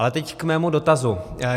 Ale teď k mému dotazu.